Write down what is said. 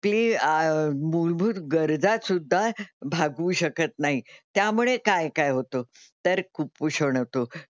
आपली मूलभूत गरजा सुद्धा भागवू शकत नाही त्यामुळे काय काय होतं? तर कुपोषण होतं.